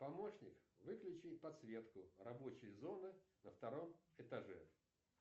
помощник выключи подсветку рабочей зоны на втором этаже